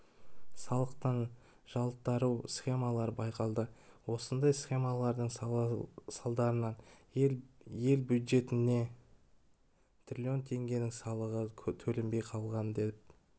салықтан жалтару схемалары байқалды осындай схемалардың салдарынан ел бюджетіне трлн теңгенің салығы төленбей қалған деп